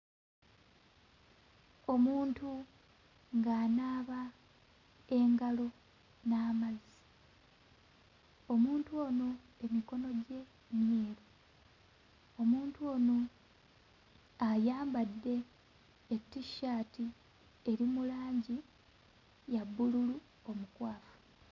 Omuntu ng'anaaba engalo n'amazzi. Omuntu ono emikono gye myeru, omuntu ono ayambadde etissaati eri mu langi ya bbululu omukwafu.